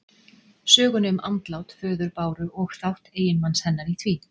Sögunni um andlát föður Báru og þátt eiginmanns hennar í því.